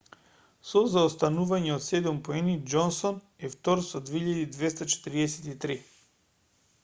со заостанување од седум поени џонсон е втор со 2,243